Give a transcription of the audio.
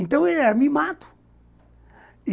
Então, ele era mimado.